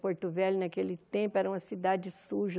Porto Velho, naquele tempo, era uma cidade suja.